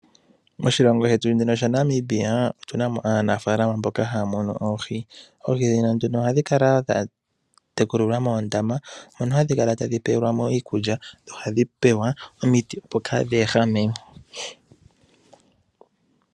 Moshilongo shetu Namibia otuna mo aanafaalama mboka haya munu oohi. Oohi ndhino ohadhi tekulilwa moondama mono hadhi pewelwa mo iikulya dho ohadhi pewa omiti opo kaadhi ehame.